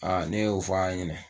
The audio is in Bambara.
Ne y'o fɔ a ɲɛna